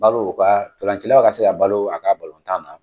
balo u ka ndɔlancilaw ka se ka balo a ka tan na.